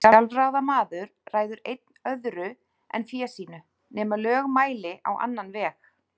Sjálfráða maður ræður einn öðru en fé sínu, nema lög mæli á annan veg.